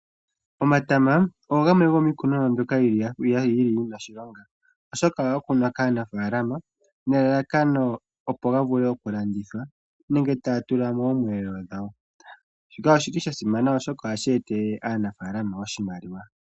Omatama ogo gamwe gomiikunomwa mbyoka yena mbyoka yina oshilonga oshoka ohaga kunwa kaanafalama nelalakano opo ga vule okulandithwa nenge taa tula moomweelelo dhawo shika oshili sha simana oshoka ohashi etele aanafalama iimaliwa.